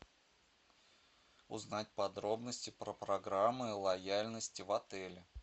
узнать подробности про программы лояльности в отеле